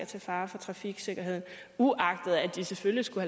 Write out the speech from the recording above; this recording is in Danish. til fare for trafiksikkerheden uagtet at de selvfølgelig skulle